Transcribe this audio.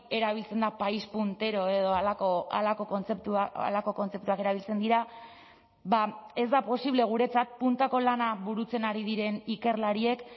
erabiltzen da país puntero edo halako kontzeptuak erabiltzen dira ba ez da posible guretzat puntako lana burutzen ari diren ikerlariek